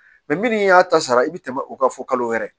minnu y'a ta sara i bɛ tɛmɛ o kan fo kalo wɛrɛ